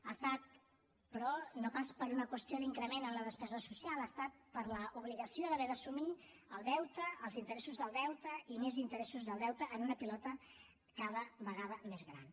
ha estat però no pas per una qüestió d’increment en la despesa social ha estat per l’obligació d’haver d’assumir el deute els interessos del deute i més interessos del deute en una pilota cada vegada més gran